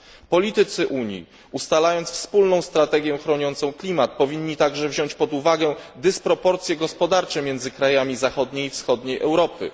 Politycy Unii ustalając wspólną strategię chroniącą klimat powinni także wziąć pod uwagę dysproporcje gospodarcze między krajami zachodniej i wschodniej Europy.